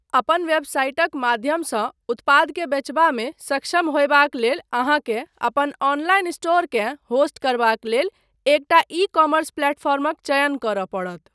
अपन वेबसाइटक माध्यमसँ उत्पादकेँ बेचबामे सक्षम होयबाक लेल अहाँकेँ अपन ऑनलाइन स्टोरकेँ होस्ट करबाक लेल एक टा ई कॉमर्स प्लेटफॉर्मक चयन करय पड़त।